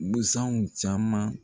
Busanw caman